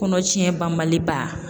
Kɔnɔ tiɲɛ banbali ba